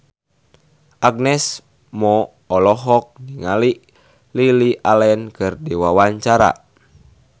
Agnes Mo olohok ningali Lily Allen keur diwawancara